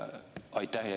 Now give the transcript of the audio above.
Aitäh!